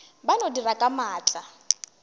ba no dira ka maatla